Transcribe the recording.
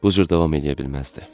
Bu cür davam eləyə bilməzdi.